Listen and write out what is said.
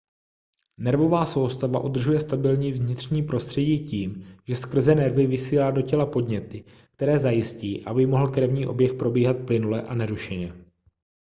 nervová soustava udržuje stabilní vnitřní prostředí tím že skrze nervy vysílá do těla podněty které zajistí aby mohl krevní oběh probíhat plynule a nerušeně